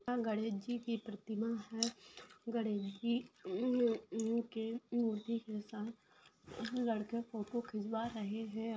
यहाँ गणेशजी की प्रतिमा है गणेशजी के साथ लड़के फोटो खिचवा रहे है।